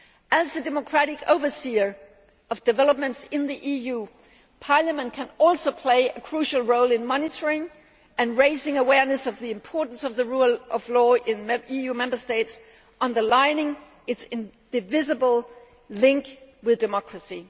As the democratic overseer of developments in the EU, Parliament can also play a crucial role in monitoring and raising awareness of the importance of the rule of law in the Member States, underlining its indivisible link with democracy.